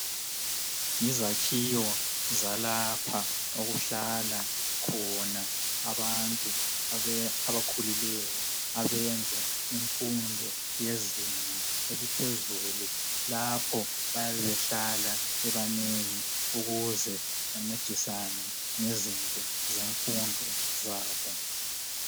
Yizakhiwo zalapho okuhlala khona abantu abakhulileyo abenza imfundo yezinga eliphezulu lapho bayabe behlala bebanengi ukuze bencedisane ngezinto zemfundo zabo.